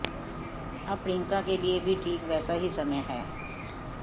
अब प्रियंका के लिए भी ठीक वैसा ही समय है